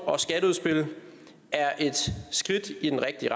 og skatteudspil er et skridt i den rigtige